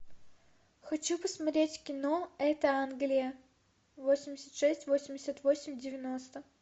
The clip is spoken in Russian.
хочу посмотреть кино это англия восемьдесят шесть восемьдесят восемь девяносто